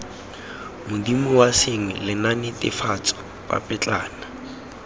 modumo wa sengwe lenaanenetefatso papetlana